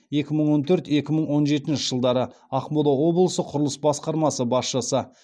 екі мың он төрт екі мың он жетінші жылдары ақмола облысы құрылыс басқармасы басшысы